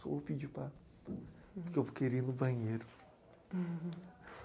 Só vou pedir para... porque eu vou querer ir no banheiro.